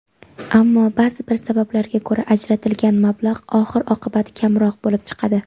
ammo ba’zi bir sabablarga ko‘ra ajratilgan mablag‘ oxir-oqibat kamroq bo‘lib chiqadi.